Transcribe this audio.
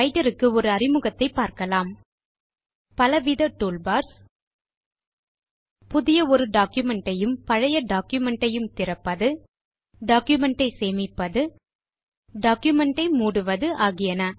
writer க்கு ஒரு அறிமுகத்தை பார்க்கலாம் பலவித டூல் பார்ஸ் புதிய ஒரு டாக்குமென்ட் ஐயும் பழைய டாக்குமென்ட் ஐயும் திறப்பது டாக்குமென்ட் ஐ சேமிப்பது டாக்குமென்ட் ஐ மூடுவது ஆகியன